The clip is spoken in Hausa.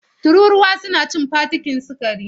Tururuwa suna cikin fakitin sukari.